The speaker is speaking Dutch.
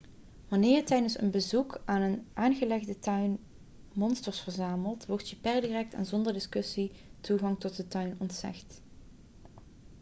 wanneer je tijdens een bezoek aan een aangelegde tuin monsters verzamelt wordt je per direct en zonder discussie toegang tot de tuin ontzegd